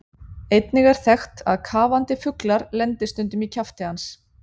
Einnig er þekkt að kafandi fuglar lendi stundum í kjafti hans.